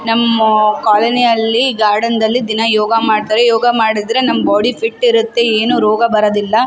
ನಮ್ಮಾ ಕೋಲೊನಿಯಲ್ಲಿ ಗಾರ್ಡನ್ದಲ್ಲಿ ದಿನ ಯೋಗ ಮಾಡ್ತಾರೆ ಯೋಗ ಮಾಡದ್ರೆ ನಮ್ಮ್ ಬೋಡಿ ಫಿಟ್ಟ್ ಇರತ್ತೆ ಏನು ರೋಗ ಬರದಿಲ್ಲ.